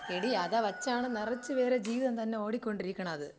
എടി അത് വെച്ചാണ് നിറച്ച് പേരെ ജീവിതം തന്നെ ഓടിക്കൊണ്ടിരിക്ക്ണത്.